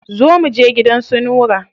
Zo mu je gidan su Nura.